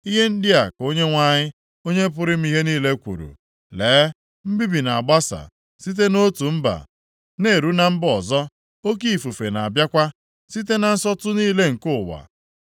Ihe ndị a ka Onyenwe anyị, Onye pụrụ ime ihe niile kwuru, “Lee, mbibi na-agbasa site nʼotu mba na-eru na mba ọzọ; oke ifufe na-abịakwa site na nsọtụ niile nke ụwa.”